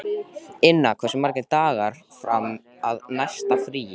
Inna, hversu margir dagar fram að næsta fríi?